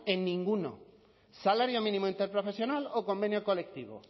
en ninguno salario mínimo interprofesional o convenio colectivo